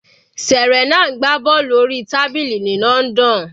Serena ń gbá bọ́ọ̀lù orí tábìlì ní London.